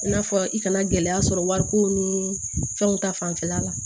I n'a fɔ i kana gɛlɛya sɔrɔ wariko ni fɛnw ta fanfɛla la